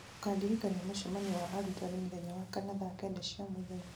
ũkandirikania mũcemanio wa arutani mũthenya wa kana thaa kenda cia mũthenya